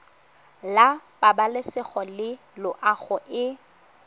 la pabalesego le loago e